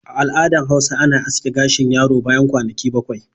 A al'adan Hausa ana aske gashin yaro bayan kwanaki bakwai